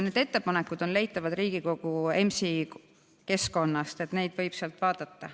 Need ettepanekud on leitavad Riigikogu EMS-i keskkonnast, nii et neid võib sealt vaadata.